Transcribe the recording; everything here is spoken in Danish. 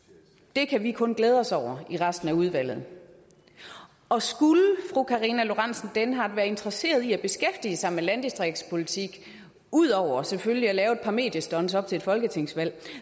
det kan vi kun glæde os over i resten af udvalget og skulle fru karina lorentzen dehnhardt være interesseret i at beskæftige sig med landdistriktspolitik ud over selvfølgelig at lave et par mediestunts op til et folketingsvalg